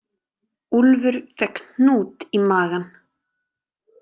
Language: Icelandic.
Úlfur fékk hnút í magann.